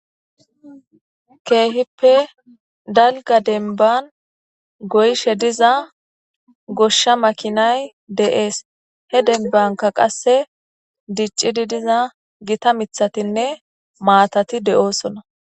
keehippe dalga denban goyshe diza goshsha makinay de'es he denbanka qasse diccidi diza gita mithatinne maatati de'osona